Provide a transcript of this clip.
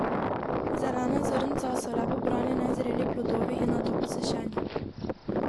Zelena zrnca so le pobrani nezreli plodovi in nato posušeni.